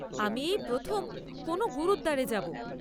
আমি এই প্রথম কোনও গুরুদ্বারে যাব।